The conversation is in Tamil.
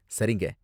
சரிங்க.